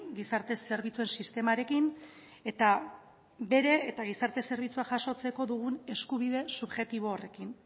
gizarte zerbitzu sistemarekin eta gizarte zerbitzua jasotzeko dugun eskubide subjektiboarekin